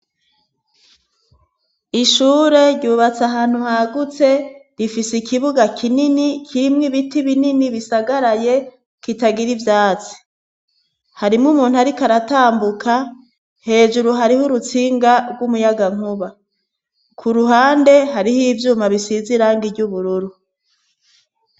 Ishure ryubatse ahantu hagutse rifise ikibuga kinini kirimwo ibiti binini bisagaraye kitagira ivyatsi, harimwo umuntu ariko aratambuka, hejuru hariho urutsinga rw'umuyagankuba, ku ruhande hariho ivyuma bisize irangi ry'ubururu.